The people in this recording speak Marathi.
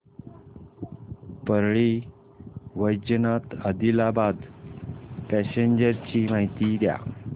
परळी वैजनाथ आदिलाबाद पॅसेंजर ची माहिती द्या